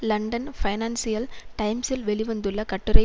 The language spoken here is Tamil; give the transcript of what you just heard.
லண்டன் பைனான்சியல் டைம்ஸில் வெளி வந்துள்ள கட்டுரை